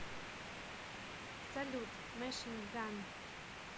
салют мэшин ган